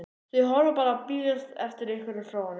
Þau horfa bara og virðast bíða eftir einhverju frá honum.